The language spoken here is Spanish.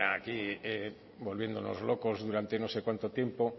aquí volviéndonos locos durante no sé cuánto tiempo